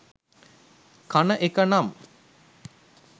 කන එක නම්